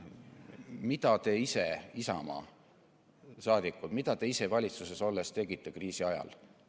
Mida te ise, Isamaa liikmed, valitsuses olles kriisi ajal tegite?